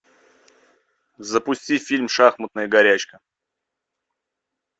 запусти фильм шахматная горячка